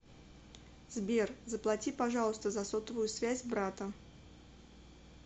сбер заплати пожалуйста за сотовую связь брата